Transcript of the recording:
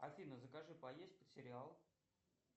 афина закажи поесть под сериал